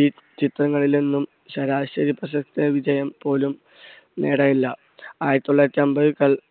ഈ ചിത്രങ്ങളിൽ നിന്നും ശരാശരി പ്രശസ്ത വിജയം പോലും നേടാനായില്ല. ആയിരത്തി തൊള്ളായിരത്തി അമ്പതുകൾ